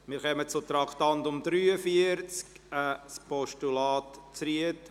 Wir kommen zum Traktandum 43, ein Postulat Zryd.